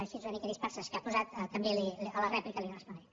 així una mica disperses que ha posat també a la rèplica li respondré